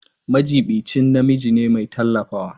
Majiɓinci namiji ne mai tallafawa.